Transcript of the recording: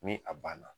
Ni a banna